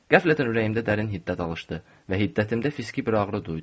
Qəflətən ürəyimdə dərin hiddət alışdı və hiddətimdə fiziki bir ağrı duydum.